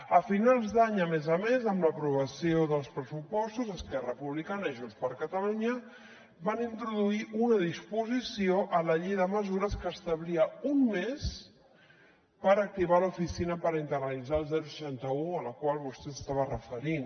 a finals d’any a més a més amb l’aprovació dels pressupostos esquerra republicana i junts per catalunya van introduir una disposició a la llei de mesures que establia un mes per activar l’oficina per internalitzar el seixanta un a la qual vostè s’estava referint